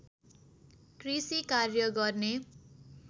कृषि कार्य गर्ने